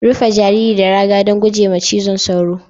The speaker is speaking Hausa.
Rufe jariri da raga don guje wa cizon sauro